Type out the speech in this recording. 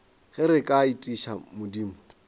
ge re ka etiša modimo